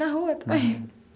Na rua também?